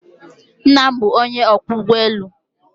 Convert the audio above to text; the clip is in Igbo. Nna m bụ onye ọkwọ ụgbọ elu